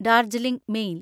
Darjeeling mail